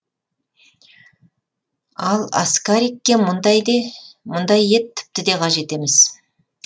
ал аскарикке мұндай ет тіпті де қажет емес